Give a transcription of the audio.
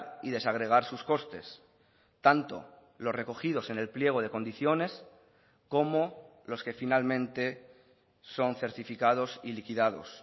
y desagregar sus costes tanto los recogidos en el pliego de condiciones como los que finalmente son certificados y liquidados